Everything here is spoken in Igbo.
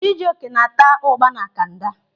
Chijoke na-ata ụ́gbà na kanda.